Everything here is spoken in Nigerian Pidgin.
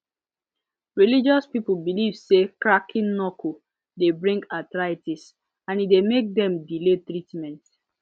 religious people believe say cracking knuckle dey bring arthritis and e dey make dem delay treatment